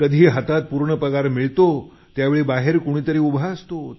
कधी हातात पूर्ण पगार मिळतो परंतु बाहेर कुणीतरी उभा असतो